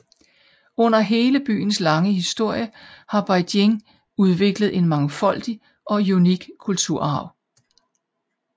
Under hele byens lange historie har Beijing udviklet en mangfoldig og unik kulturarv